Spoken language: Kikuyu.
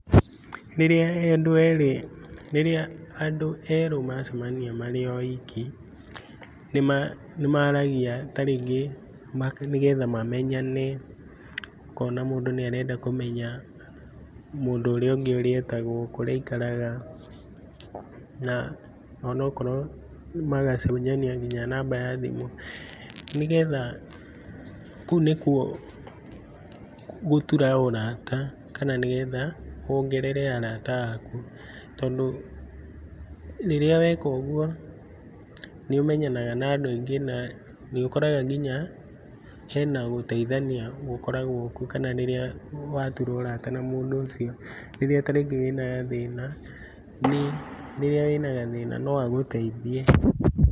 Rĩria andũ erĩ, rĩrĩa andũ erũ macemania marĩ oiki, nĩmaragia tarĩngĩ nĩgetha mamenyane. Ũkona mũndũ nĩ arenda kũmenya mũndũ ũrĩa ũngĩ ũrĩa etagwo, kũrĩa aikaraga na onokorwo magacenjania nginya namba ya thimũ nĩgetha, kũu nĩkuo gũtura ũrata kana nĩgetha wongerere arata aku. Tondũ rĩrĩa weka ũguo, nĩ ũmenyanaga na andũ aingĩ na nĩ ũkoraga nginya hena gũteithania gũkoragwo kuo, kana rĩrĩa watura ũrata na mũndũ ũcio, rĩrĩa ta rĩngĩ wĩ na gathĩna, rĩrĩa wĩ na gathĩna no agũteithie.